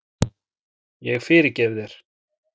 Ég fyrirgef þér.